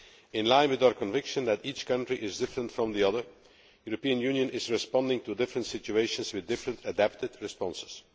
In line with our conviction that each country is different from the others, the European Union is responding to different situations with different adapted responses.